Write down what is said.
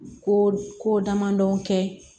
Ko ko damadɔn kɛ